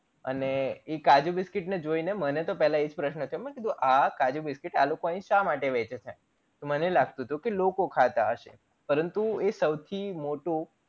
અને એ કાજુ biscuit ને જોઇને મને તો પેલા એજ પ્રશન થયો મેં કીધું આ કાજુ biscuit આ લોકો આય શા માટે વેંચે છે મને લાગતું હતું કે લોકો ખાતા હયસે પરંતુ એ સૌથી મોટું